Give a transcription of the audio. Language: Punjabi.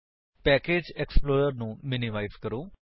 ਪੈਕੇਜ ਏਕਸਪਲੋਰਰ ਨੂੰ ਮਿਨਿਮਾਇਜ ਕਰੋ